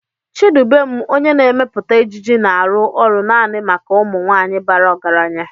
Chidubem onye na-emepụta ejiji na-arụ ọrụ naanị maka ụmụ nwanyị bara ọgaranya.